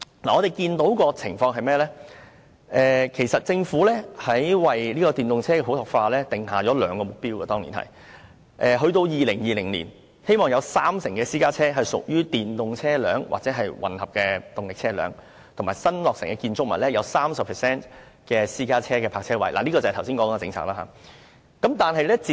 我們看見的情況是，政府當年為電動車普及化訂下兩個目標，一是希望到2020年，會有三成私家車屬於電動車或混合動力車；二是新落成的建築物有 30% 的私家車泊車位可提供充電設施，這便是剛才說的政策。